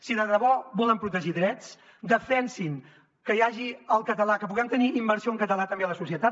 si de debò volen protegir drets defensin que hi hagi el català que puguem tenir immersió en català també a la societat